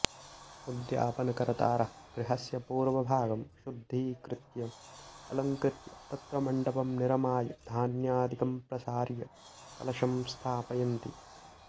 उद्यापनकर्तारः गृहस्य पूर्वभागं शुद्धीकृत्य अलङ्कृत्य तत्र मण्डपं निर्माय धान्यादिकं प्रसार्य कलशं स्थापयन्ति